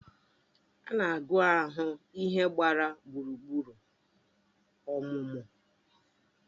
Ana agu ahụ ihe gbara gburugburu ọmụmụ